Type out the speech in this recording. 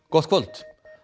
gott kvöld